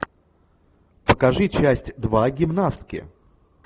покажи часть два гимнастки